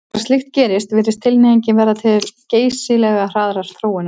Þegar slíkt gerist virðist tilhneigingin verða til geysilega hraðrar þróunar.